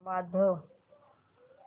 वाजव